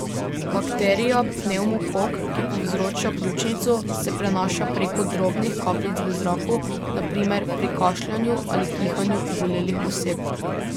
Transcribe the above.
Bakterija pnevmokok, ki povzroča pljučnico, se prenaša preko drobnih kapljic v zraku, na primer pri kašljanju ali kihanju obolelih oseb.